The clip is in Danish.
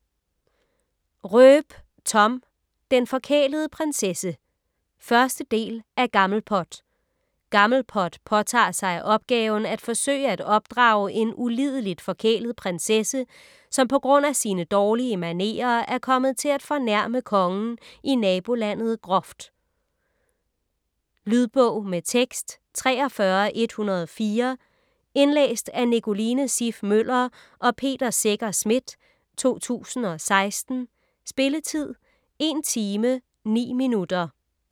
Roep, Thom: Den forkælede prinsesse 1. del af Gammelpot. Gammelpot påtager sig opgaven at forsøge at opdrage en ulideligt forkælet prinsesse, som på grund af sine dårlige manerer er kommet til at fornærme kongen i nabolandet groft. Lydbog med tekst 43104 Indlæst af Nicoline Siff Møller og Peter Secher Schmidt, 2016. Spilletid: 1 timer, 9 minutter.